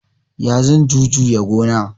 Ya zan jujuya gona?